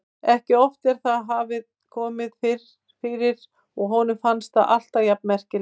Ekki oft en það hafði komið fyrir og honum fannst það alltaf jafn merkilegt.